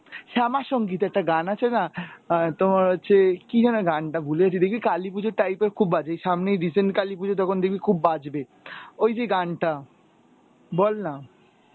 শ্যামা সংগীত একটা গান আছে না অ্যাঁ তোমার হচ্ছে কি যেন গানটা ভুলে যাচ্ছি দেখবি কালি পুজোর time এ খুব বাজে সামনেই recent কালী পুজো তখন দেখবি খুব বাজবে, ওই যে গানটা, বল না.